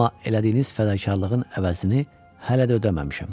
Amma elədiyiniz fədakarlığın əvəzini hələ də ödəməmişəm.